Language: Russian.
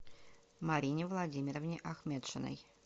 марине владимировне ахметшиной